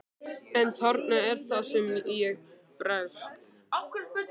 En þarna er það sem ég bregst.